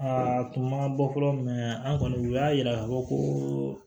Aa tun ma bɔ fɔlɔ an kɔni u y'a yira k'a fɔ ko